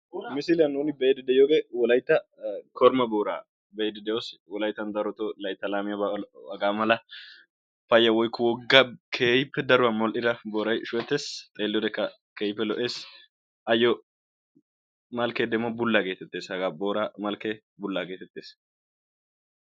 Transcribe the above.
Misiliyaan nuni be'iidi de'iyoogee wolayttan korima booraa be'iidi de'oos. wolaytta darotoo laytta laamiyaabaa hagaa mala payya woykko woggaa keehippe daruwaa modhdhida booray shuhettees. xeelliyoode keehippe lo"ees. ayoo malkkee demo bullaa getettees. hagaa booraa malkkee.